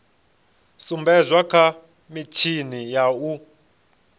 sumbedzwa kha mitshini ya u